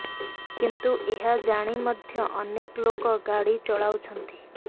କିନ୍ତୁ ଏହା ଜାଣି ମଧ୍ୟ ଅନେକ ଲୋକ ଗାଡ଼ି ଚଳାଉଛନ୍ତି